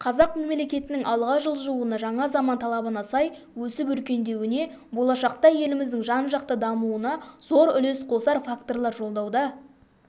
қазақ мемлекетінің алға жылжуына жаңа заман талабына сай өсіп-өркендеуіне болашақта еліміздің жан-жақты дамуына зор үлес қосар факторлар жолдауда